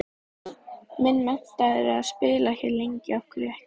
Minn metnaður er að spila hér lengi, af hverju ekki?